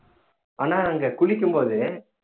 ஆனா அங்க குளிக்கும் போது